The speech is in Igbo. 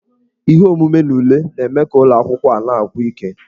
Ihe omume na ule na-eme ka ụlọ akwụkwọ a na-agwụ ike.